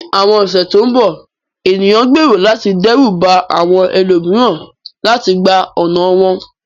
Ní àwọn ọ̀sẹ̀ tó ń bọ̀, ènìyàn gbèrò láti dẹ́rù ba àwọn ẹlòmíràn láti gba ọ̀nà wọn.